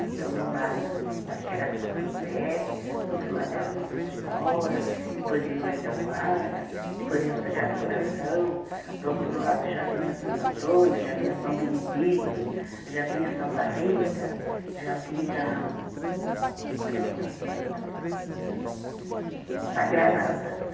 Então, de um lado, acho que era São José, do outro lado era Nossa Senhora, depois vinha o Anjo da Guarda, depois vinha o Sagrado Coração, do outro lado já vinha Santo Antônio, já vinha São Benedito, já vinha Santa Rita, já vinha Qual é a outra santa, meu Deus do céu? Sagrada da